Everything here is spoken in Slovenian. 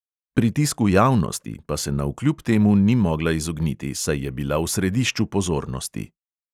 "Pritisku javnosti" pa se navkljub temu ni mogla izogniti, saj je bila v središču pozornosti.